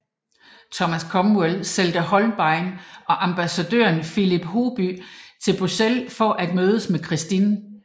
Thomas Cromwell sendte Holbein og ambassadøren Philip Hoby til Bruxelles for at mødes med Christine